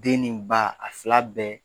Den ni ba a fila bɛɛ